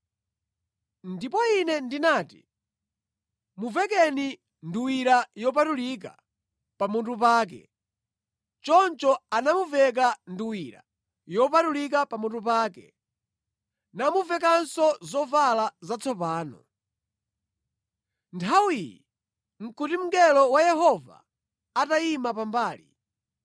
Ndipo ine ndinati, “Muvekeni nduwira yopatulika pamutu pake.” Choncho anamuveka nduwira yopatulika pamutu pake, namuvekanso zovala zatsopano. Nthawiyi nʼkuti mngelo wa Yehova atayima pambali.